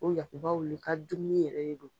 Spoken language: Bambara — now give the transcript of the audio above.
O yakubaw le ka dumuni yɛrɛ de don.